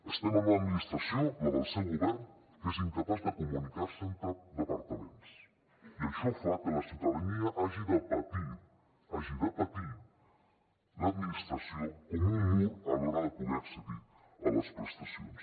estem en una administració la del seu govern que és incapaç de comunicar se entre departaments i això fa que la ciutadania hagi de patir hagi de patir l’administració com un mur a l’hora de poder accedir a les prestacions